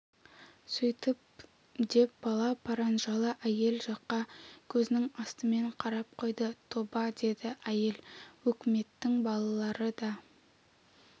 сөйтіп деп бала паранжалы әйел жаққа көзінің астымен қарап қойды тоба деді әйел өкіметтің балалары да